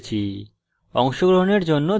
অংশগ্রহনের জন্য ধন্যবাদ